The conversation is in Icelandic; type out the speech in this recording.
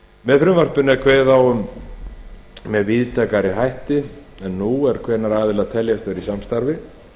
með frumvarpinu er kveðið á um með víðtækari hætti en nú er hvenær aðilar teljast vera í samstarfi